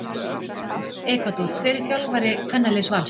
Ekvador Hver er þjálfari kvennaliðs Vals?